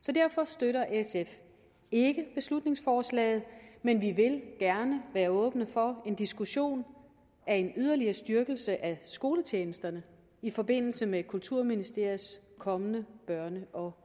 så derfor støtter sf ikke beslutningsforslaget men vi vil gerne være åbne for en diskussion af en yderligere styrkelse af skoletjenesterne i forbindelse med kulturministeriets kommende børn og